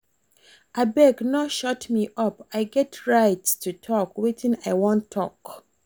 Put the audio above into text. Abeg no shut me up I get rights to talk wetin I wan talk